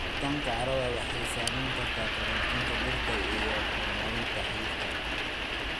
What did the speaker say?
Jiritaanka carrada waxay saameyn kartaa koritaanka dhirta iyo horumarinta xididka.